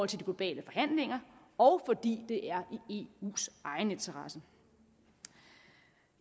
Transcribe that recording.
til de globale forhandlinger og fordi det er i eus egen interesse